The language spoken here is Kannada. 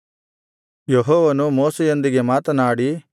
ಯೆಹೋವನು ಮೋಶೆಯೊಂದಿಗೆ ಮಾತನಾಡಿ